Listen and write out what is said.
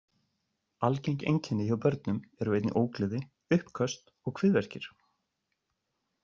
Algeng einkenni hjá börnum eru einnig ógleði, uppköst og kviðverkir.